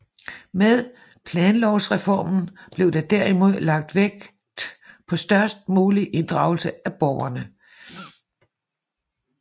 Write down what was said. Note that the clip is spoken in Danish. Med planlovreformen blev der derimod lagt vægt på størst mulig inddragelse af borgerne